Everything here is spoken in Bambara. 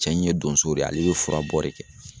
Cɛ in ye donso de ye ale bɛ furabɔ de kɛ.